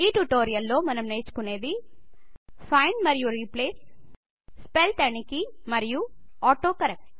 ఈ ట్యుటోరియల్ లో మనం నేర్చుకునేది ఫైండ్ మరియు రీప్లేస్ స్పెల్ తనిఖీ మరియు ఆటో కరెక్ట్